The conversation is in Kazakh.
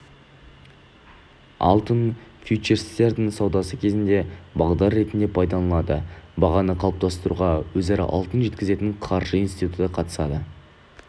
алтын фьючерстерінің саудасы кезінде бағдар ретінде пайдаланылады бағаны қалыптастыруға өзара алтын жеткізетін қаржы институты қатысады